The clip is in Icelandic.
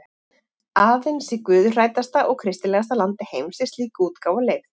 Aðeins í guðhræddasta og kristilegasta landi heims er slík útgáfa leyfð.